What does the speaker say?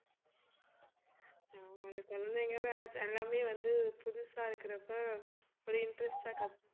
ஆஹ் குழந்தைகளாம் எல்லாமே வந்து புதுசா இருக்கறப்ப ஒரு interest ஆ கத்~